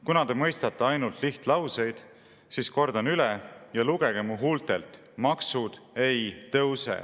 Kuna te mõistate ainult lihtlauseid, siis kordan üle ja lugege mu huultelt: maksud ei tõuse.